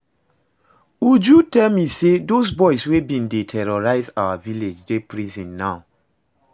Uju tell me say those boys wey bin dey terrorize our village dey prison now